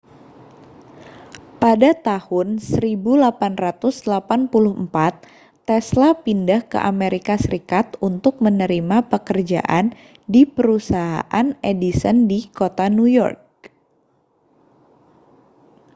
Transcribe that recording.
pada tahun 1884 tesla pindah ke amerika serikat untuk menerima pekerjaan di perusahaan edison di kota new york